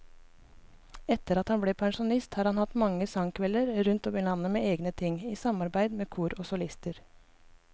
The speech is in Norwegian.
Etter at han ble pensjonist har han hatt mange sangkvelder rundt om i landet med egne ting, i samarbeid med kor og solister.